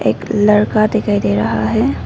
एक लड़का दिखाई दे रहा है।